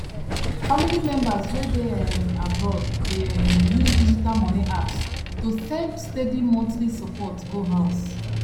family members wey dey um abroad dey um use digital money apps to send steady monthly support go house